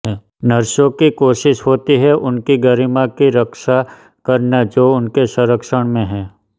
नर्सों की कोशिश होती हैं उनकी गरिमा की रक्षा करना जो उनके संरक्षण मैं हैं